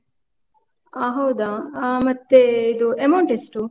ಆ ಹೌದಾ? ಹ ಮತ್ತೆ ಇದು amount ಎಷ್ಟು?